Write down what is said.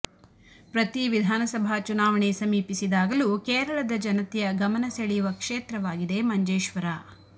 ಪ್ರತೀ ವಿಧಾನಸಭಾ ಚುನಾವಣೆ ಸಮೀಪಿಸಿದಾಗಲೂ ಕೇರಳದ ಜನತೆಯ ಗಮನ ಸೆಳೆಯುವ ಕ್ಷೇತ್ರವಾಗಿದೆ ಮಂಜೇಶ್ವರ